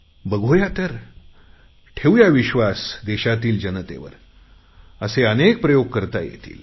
बघूया तर ठेवूया विश्वास देशातील जनतेवर असे अनेक प्रयोग करता येतील